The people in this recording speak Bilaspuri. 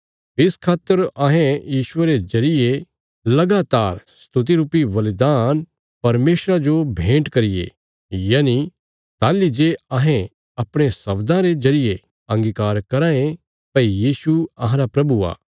इस खातर अहें यीशुये रे जरिये लगातार स्तुति रुपी बलिदान परमेशरा जो भेन्ट करिये यनि ताहली जे अहें अपणे शब्दां रे जरिये अंगीकार कराँ ये भई यीशु अहांरा प्रभु आ